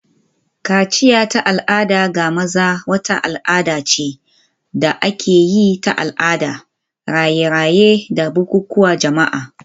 Kaciya ta al'ada ga maza wata al'ada ce da ake yi da al'ada, raye-raye, da bukukuwan jama'a.